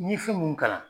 N ye fɛn mun kalan